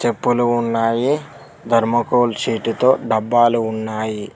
Pole ఉన్నాయి thermocol sheet తో డబ్బాలు ఉన్నాయి.